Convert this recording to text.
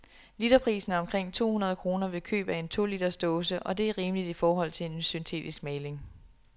Literprisen er omkring to hundrede kroner ved køb af en to liters dåse, og det er rimeligt i forhold til en syntetisk maling.